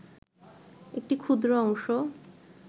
একটি ক্ষুদ্র অংশ